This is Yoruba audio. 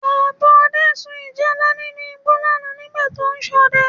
Bàbá Ọdẹ sun ìjálá nínú igbó lánàá nígbà tó ń ṣọdẹ